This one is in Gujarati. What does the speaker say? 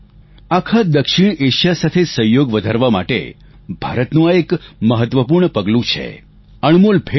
આખા દક્ષિણએશિયા સાથે સહયોગ વધારવા માટે ભારતનું આ એક મહત્વપૂર્ણ પગલું છે અણમોલ ભેટ છે